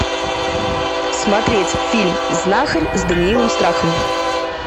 смотреть фильм знахарь с даниилом страховым